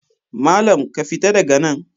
Malam, ka fita daga nan!